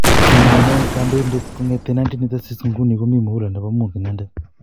Kimi inendet kondainatet kongeten 1986 nguni komi muhula nepo muut inendet